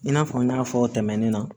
I n'a fɔ n y'a fɔ tɛmɛnen na